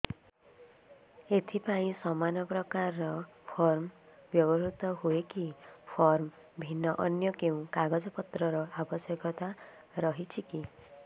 ଏଥିପାଇଁ ସମାନପ୍ରକାର ଫର୍ମ ବ୍ୟବହୃତ ହୂଏକି ଫର୍ମ ଭିନ୍ନ ଅନ୍ୟ କେଉଁ କାଗଜପତ୍ରର ଆବଶ୍ୟକତା ରହିଛିକି